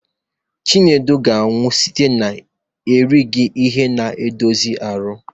Chinedu ga-anwụ site na-erighị ihe na-edozi ahụ.